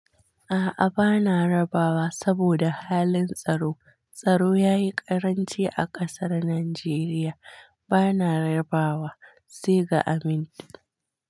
A'a bana rabawa saboda halin tsaro. Tsaro ya yi ƙaranci a ƙasar Najeriya, bana rabawa, sai ga amin.